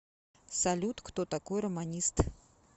салют кто такой романист